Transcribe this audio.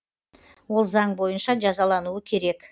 ол заң бойынша жазалануы керек